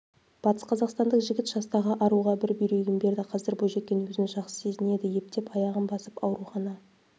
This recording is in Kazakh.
батысқазақстандық жігіт жастағы аруға бір бүйрегін берді қазір бойжеткен өзін жақсы сезінеді ептеп аяғын басып аурухана